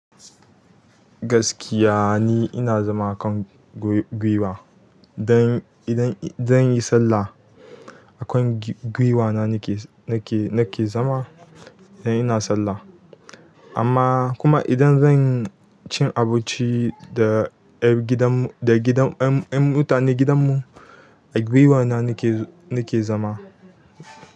Gaskiya ni ina zama a kan guiw-gwuiwa. Idan, idan, idan zan yi sallah akan gi-guiwa na nake, nake, nake zama idan ina sallah. Amma kuma idan zanci abinci ƴan da gida ƴan ƴan mutanen gidanmu a giwa na nake, nake zama.